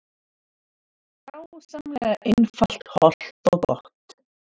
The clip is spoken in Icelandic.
Dásamlega einfalt, hollt og gott